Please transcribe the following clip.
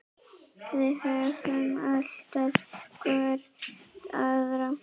Við höfum alltaf hvor aðra.